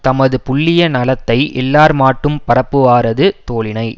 தமது புல்லிய நலத்தை எல்லார்மாட்டும் பரப்புவாரது தோளினை